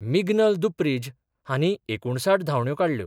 मिगनल दुप्रीज हांणी एकुणसाठ धावंड्यो काडल्यो.